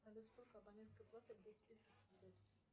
салют сколько абонентской платы будет списываться в году